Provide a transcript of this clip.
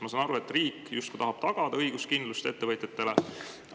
Ma saan aru, et riik tahab tagada ettevõtjatele justkui õiguskindlust.